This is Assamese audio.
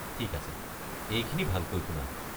ঠিক আছে, এইখিনি ভালকৈ শুনা!